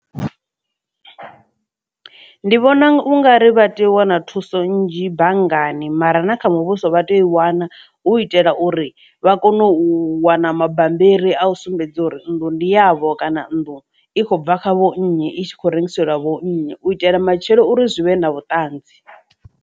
Ndi vhona u nga ri vha tea u wana thuso nnzhi banngani mara na kha muvhuso vha tea u i wana hu itela uri vha kone u wana mabambiri a u sumbedza uri nnḓu ndi yavho kana nnḓu i khou bva kha vhonnyi i tshi khou rengiselwa vho nnyi u itela matshelo uri zwi vhe na vhuṱanzi.